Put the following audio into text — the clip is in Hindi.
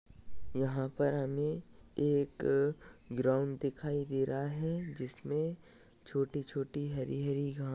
यहाँ पर हमे एक अ ग्राउन्ड दिखाई दे रहा है। जिसमे छोटी छोटी हरी हरी घा--